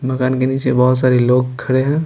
दुकान के नीचे बहुत सारे लोग खड़े हैं।